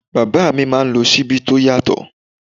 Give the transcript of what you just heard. Bàbá mi máa ń lò Ṣíbí tó yàtọ̀.